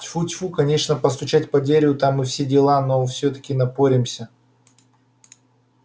тьфу-тьфу конечно постучать по дереву там и все дела но всё-таки напоремся